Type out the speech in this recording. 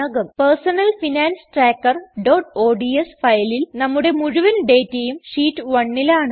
personal finance trackerഓഡ്സ് ഫയലിൽ നമ്മുടെ മുഴുവൻ ഡേറ്റയും ഷീറ്റ് 1ലാണ്